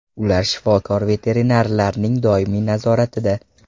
Ular shifokor-veterinarlarning doimiy nazoratida.